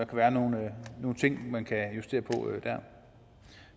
være nogle ting man kan justere på